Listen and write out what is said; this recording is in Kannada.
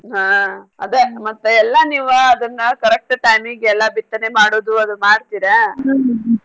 ಹಾ ಅದೇ ಮತ್ ಎಲ್ಲಾ ನೀವ ಅದ್ನ correct time ಗೆ ಎಲ್ಲಾ ಬಿತ್ತನೆ ಮಾಡೋದು ಅದು ಮಾಡ್ತೀರಾ .